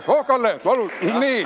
Kalle, palun!